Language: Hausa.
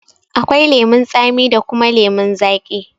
Akwai lemun tsami da kuma lemun zaƙi.